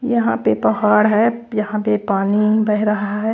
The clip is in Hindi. यहाँ पे पहाड़ है यहाँ पे पानी बह रहा है।